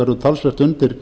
verður talsvert undir